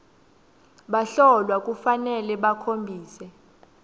bahlolwa kufanele bakhombise